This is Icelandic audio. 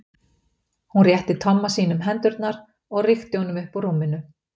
Hún rétti Tomma sínum hendurnar og rykkti honum upp úr rúminu.